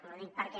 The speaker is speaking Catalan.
ho dic perquè